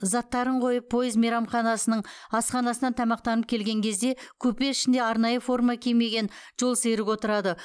заттарын қойып пойыз мейрамханасының асханасынан тамақтанып келген кезде купе ішінде арнайы форма кимеген жолсерік отырады